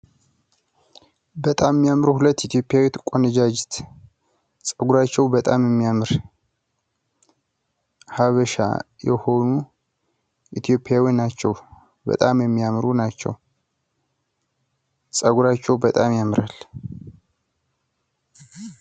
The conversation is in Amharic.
በጣም የሚያምሩ ሁለት ኢትዮጵያዊት ቆነጃጅት ፤ ጸጉራቸዉ በጣም የሚያምር ሀብሻ የሆኑ ኢትዮጵያዊ ናቸው ፤ በጣም የሚያምሩ ናቸው ፤ ጸጉራቸዉ በጣም ያምራል።